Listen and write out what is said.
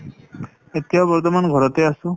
এতিয়া বৰ্তমান ঘৰতে আছোঁ ।